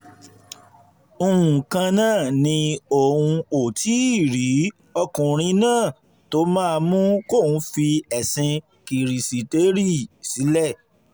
nǹkanná ni òun ò tí ì rí ọkùnrin náà tó máa mú kóun fi ẹ̀sìn kirisítérì sílẹ̀